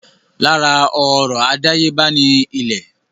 Lára ọrọ̀ àdáyébá ni ilẹ̀.